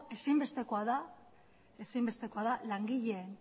ezinbestekoa da langileen